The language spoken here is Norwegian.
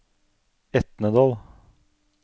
Etnedal